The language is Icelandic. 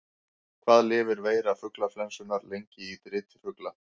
Hvað lifir veira fuglaflensunnar lengi í driti fugla?